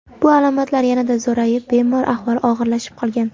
Bu alomatlar yanada zo‘rayib, bemor ahvoli og‘irlashib qolgan.